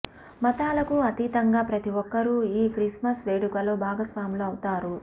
మతాలకు అతీతంగా ప్రతి ఒక్కరూ ఈ క్రిస్మస్ వేడుకలో భాగస్వాములు అవుతారు